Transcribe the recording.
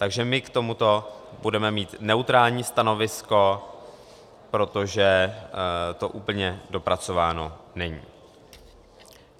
Takže my k tomuto budeme mít neutrální stanovisko, protože to úplně dopracováno není.